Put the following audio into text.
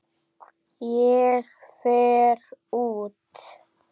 Ég fer út.